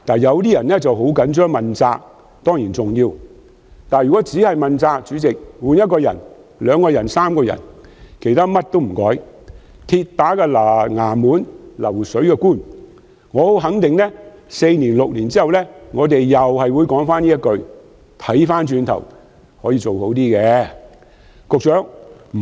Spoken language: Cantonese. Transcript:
有人很在意要問責，這當然重要，但如果只求問責，只更換一些人員而不改變其他做法，所謂"鐵打的衙門，流水的官"，我肯定在4年或6年後，我們會再說同一番話："如今回首一看，可以做得較好。